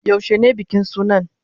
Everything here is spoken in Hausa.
Yaushe ne bikin sunan?